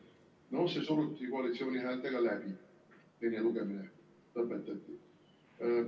... no see suruti koalitsiooni häältega läbi, teine lugemine lõpetati.